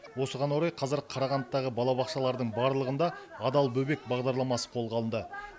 осыған орай қазір қарағандыдағы балабақшалардың барлығында адал бөбек бағдарламасы қолға алынды